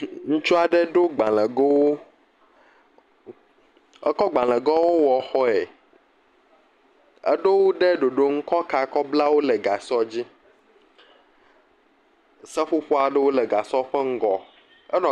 Ŋutsuaɖe ɖo gbalẽgowo, ekɔ gbalẽgowo wɔ xɔe, eɖowo ɖe ɖoɖo nu kɔ ka kɔblawo le gasɔ dzi, seƒoƒo aɖewo le gasɔ ƒe ŋgɔ enɔ.